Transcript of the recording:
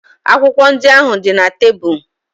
Akwụkwọ ndị ahụ dị na tebụl.